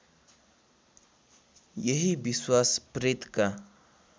यही विश्वास प्रेतका